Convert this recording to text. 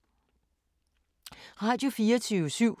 Radio24syv